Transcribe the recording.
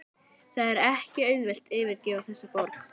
Það er ekki auðvelt að yfirgefa þessa borg.